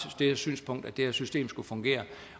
det synspunkt at det her system skulle fungere